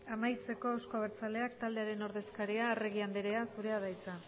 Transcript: amaitzeko euzko abertzaleak taldearen ordezkaria arregi anderea zurea da hitza